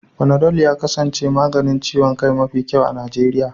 Fanadol ya kasance maganin ciwon kai mafi kyau a Najeriya.